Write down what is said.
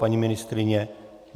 Paní ministryně?